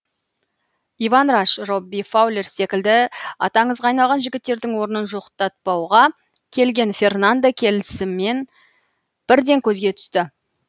иван раш робби фаулер секілді аты аңызға айналған жігіттердің орнын жоқтатпауға келген фернандо келісімен бірден көзге түсті